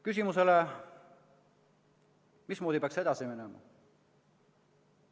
Küsimus: mismoodi peaks edasi minema?